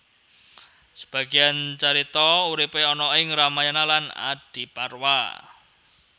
Sebagian carita uripe ana ing Ramayana lan Adiparwa